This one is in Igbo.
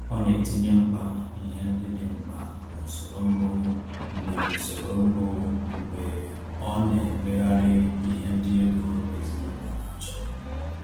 Ọ na-etinye mkpa ihe ndị dị mkpa n’usoro mbụ mgbe n’usoro mbụ mgbe ọ na-emegharị ihe ndị ego ezinụlọ na-achọ.